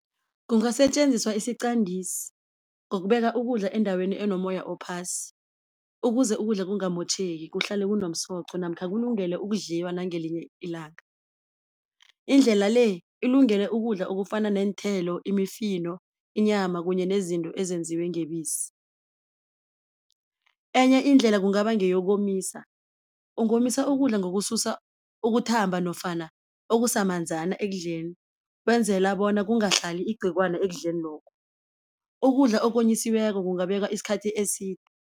Kungasetjenziswa isiqandisi ngokubeka ukudla endaweni enomoya ophasi, ukuze ukudla kungamotjheki kuhlale kunomsoco namkha kulungele ukudliwa nangelinye ilanga. Indlela le ilungele ukudla okufana neenthelo, imifino, inyama kunye nezinto ezenziwe ngebisi. Enye indlela kungaba ngeyokomisa, ungomisa ukudla ngokususa ukuthamba nofana okusamanzana ekudleni wenzela bona kungahlali igciwana ekudleni lokho, ukudla okonyisiweko kungabekwa isikhathi